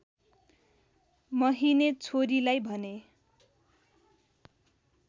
महिने छोरीलाई भने